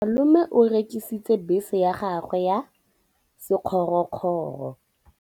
Malome o rekisitse bese ya gagwe ya sekgorokgoro.